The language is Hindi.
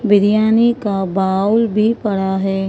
बिरियानी का बाउल भी पड़ा है।